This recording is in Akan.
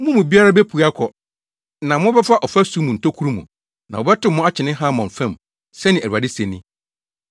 Mo mu biara bepue akɔ, na mobɛfa ɔfasu mu ntokuru mu, na wɔbɛtow mo akyene Harmon fam,” sɛnea Awurade se ni.